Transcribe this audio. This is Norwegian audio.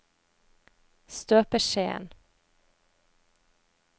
støpeskjeen